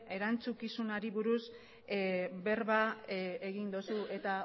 erantzukizunari buruz berba egin duzu eta